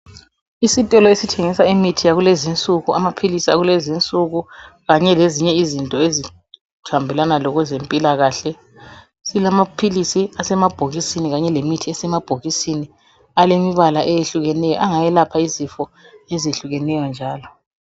Isitolo esithengisa imithi yakulezinsuku, amaphilisi akulezinsuku kanye lezinye izinto ezihambelana lokwezempilakahle. Silamaphilisi asemabhokisini Kanye lemithi esemabhokisini alemibala eyehlukeneyo angayelapha izifo ezehlukeneyo njalo.